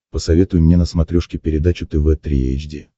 посоветуй мне на смотрешке передачу тв три эйч ди